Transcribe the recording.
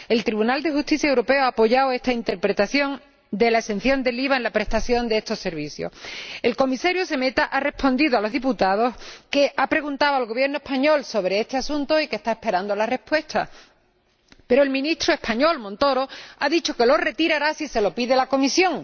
El Tribunal de Justicia de la Unión Europea ha apoyado esta interpretación de la exención del IVA en la prestación de estos servicios. El Comisario Šemeta ha respondido a los diputados que ha preguntado al Gobierno español sobre este asunto y que está esperando la respuesta, pero el Ministro español Montoro ha dicho que lo retirará si se lo pide la Comisión.